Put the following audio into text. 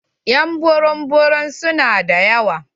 Ƴ'an burum burum su na da yawa.